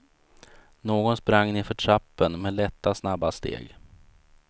Någon sprang nedför trappen med lätta, snabba steg.